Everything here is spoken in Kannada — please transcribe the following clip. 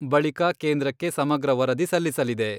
ಬಳಿಕ ಕೇಂದ್ರಕ್ಕೆ ಸಮಗ್ರ ವರದಿ ಸಲ್ಲಿಸಲಿದೆ.